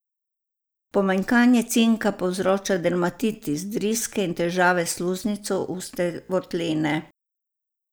Pomanjkanje cinka povzroča dermatitis, driske in težave s sluznico ustne votline.